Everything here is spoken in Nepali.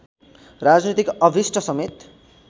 राजनीतिक अभीष्टसमेत